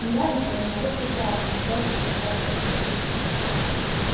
нравится ему вот и красные твёрдо сказал сергей